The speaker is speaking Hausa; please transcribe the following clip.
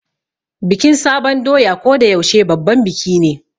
Bikin sabon doya ko da yaushe babban biki ne.